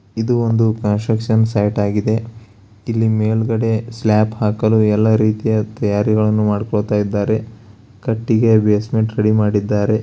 ಇದು ಒಂದು construction site ಆಗಿದೆ ಇಲ್ಲಿ ಮೇಲ್ಗಡೆ ಸ್ಲಾಬ್ ಹಾಕಲು ಎಲ್ಲಾ ರೀತಿಯ ತಯಾರಿಗಳನ್ನು ಮಾಡ್ಕೊಳ್ತಾ ಇದ್ದಾರೆ ಕಟ್ಟಿಗೆಯ ಬೇಸ್ಮೆಂಟ್ ರೆಡಿ ಮಾಡಿದ್ದಾರೆ.